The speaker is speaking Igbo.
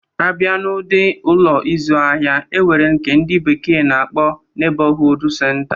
A bịa n'ụdi Ụlọ ịzụ ahịa, e nwere nke ndị bekee na-akpọ Nebọhuud senta